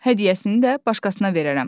Hədiyyəsini də başqasına verərəm.